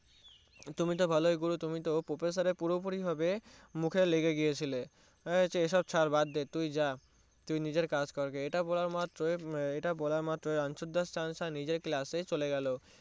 তুমি তো ভালোই গুরু তুমি তো Professor এর পুরো পুরি ভাবে মুখে লেগে গিয়েছিলে হ্যান এসব ছাড় বাড্ডে তুই যা তুই নিজেইর কাজ কর গিয়ে ইটা বলা মাত্রই ইটা বলা মাত্রই রানছর দাস নিজের Class এ চলে গেল